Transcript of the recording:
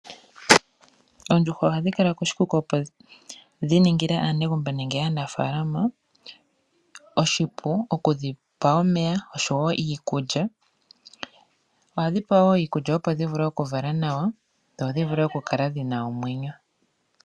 Oondjuhwa ohadhi kala koshikuku, opo dhi ningile aanegumbo nenge aanafaalama oshipu oku dhi pa omeya oshowo iikulya, ohadhi pewa iikulya opo dhi vule oku vala nawa, dho dhi vule oku kala dhina omwenyo.